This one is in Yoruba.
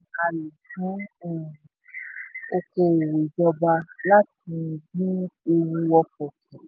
a lò fún um oko òwò ìjọba láti dín ewu ọkọ̀ kù.